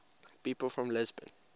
people from lisbon